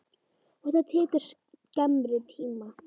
Og það tekur skemmri tíma.